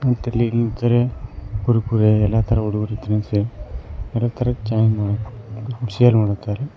ಮತ್ತ್ ಇಲ್ ಇಲ್ ಜರೆ ಕುರ್ಕುರೆ ಎಲ್ಲಾ ತರ ಹುಡುಗರ ತಿನಿಸು ಇವೆ ಎಲ್ಲಾ ತರ ಶೇರ್ ಮಾಡುತ್ತಾರೆ.